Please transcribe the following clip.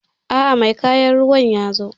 aa, mai kayan ruwan yazo